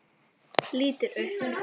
Lítur upp.